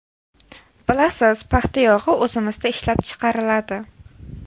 Bilasiz, paxta yog‘i o‘zimizda ishlab chiqariladi.